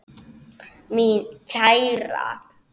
Mín kæra.